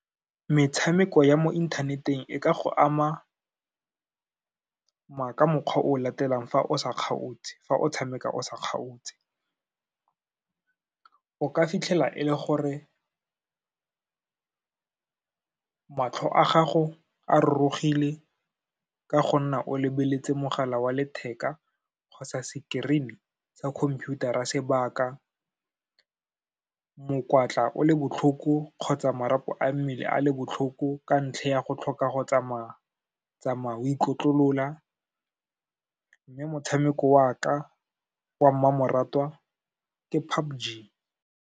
Metshameko ya mo inthaneteng e ka go ama ka mokgwa o o latelang fa o tshameka o sa kgaotse, o ka fitlhela e le gore matlho a gago a rorogile ka go nna o lebeletse mogala wa letheka kgotsa screen-e sa computer-ra sebaka, mokwatla o le botlhoko kgotsa marapo a mmele a le botlhoko, ka ntlha ya go tlhoka go tsamaya-tsamaya o ikotlolola. Mme motshameko wa ka wa mmamoratwa ke PUBG.